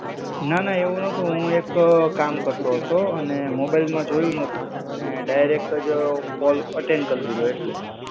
ના, ના, એવું નતો. હું એક કામ કરતો હતો અને મોબાઈલ માં જોયું નતું અને ડાયરેક્ટ જ કોલ અટેન્ડ કરી લીધો એટલે.